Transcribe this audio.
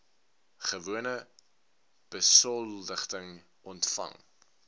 gewone besoldiging ontvang